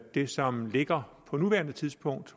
det som ligger på nuværende tidspunkt